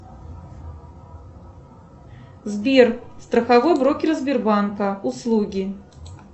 сбер страховой брокер сбербанка услуги